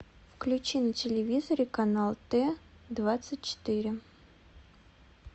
включи на телевизоре канал т двадцать четыре